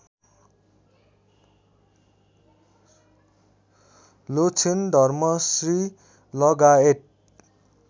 लोछेन धर्मश्री लगायत